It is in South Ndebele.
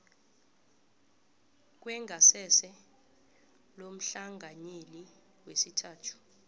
kwengasese lomhlanganyeli wesithathu